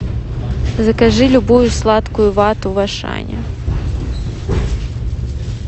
закажи любую сладкую вату в ашане